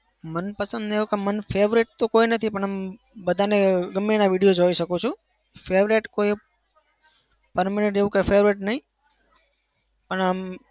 મનપસંદ એવું કઇ મન favorite તો કોઈ નથી પણ એમ બધાને ગમ્મે એના video જોઈ શકું છું. favorite કોઈ permanent એવું કઈ favorite નઈ. પણ એમ